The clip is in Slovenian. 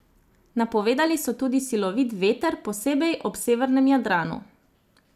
Napovedali so tudi silovit veter, posebej ob severnem Jadranu.